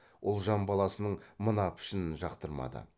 ұлжан баласының мына пішінін жақтырмады